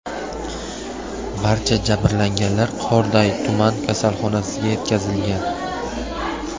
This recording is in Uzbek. Barcha jabrlanganlar Qorday tuman kasalxonasiga yetkazilgan.